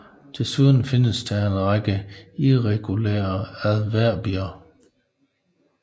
Desunden findes der en række irregulære adverbier